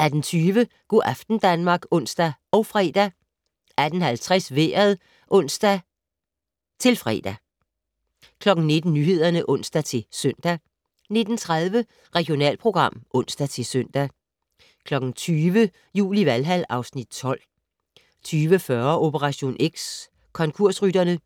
18:20: Go' aften Danmark (ons og fre) 18:50: Vejret (ons-fre) 19:00: Nyhederne (ons-søn) 19:30: Regionalprogram (ons-søn) 20:00: Jul i Valhal (Afs. 12) 20:40: Operation X: Konkursrytterne